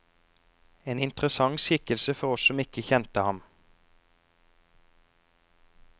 En interessant skikkelse for oss som ikke kjente ham.